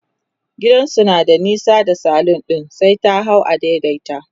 gidansu na da nesa da salon ɗin sai ta hau a daidaita